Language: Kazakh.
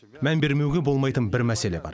мән бермеуге болмайтын бір мәселе бар